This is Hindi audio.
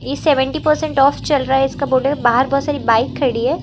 सेवेंटी परसेंटे ऑफ चल रहा है इसका बाहर बहोत सारी बाइक खड़ी है।